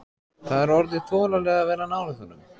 Það er orðið þolanlegra að vera nálægt honum.